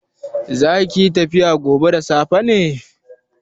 Zakiyi tafiya gobe da safe ne?